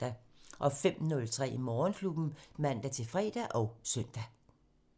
05:03: Morgenklubben (man-fre og søn)